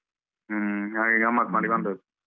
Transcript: ಹ್ಮ್ ಹಾಗೆ ಗಮ್ಮತ್ ಮಾಡಿ ಬಂದದ್ದು.